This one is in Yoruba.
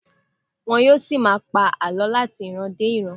Wọn yóò ṣì máa pa àlọ láti ìran dé ìran.